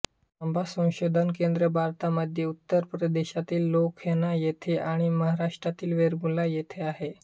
आंबा संशोधन केंद्र भारतामध्ये उत्तर प्रदेशातील लखनौ येथे आणि महाराष्ट्रातील वेंगुर्ला येथे आहे